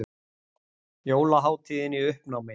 Jólahátíðin í uppnámi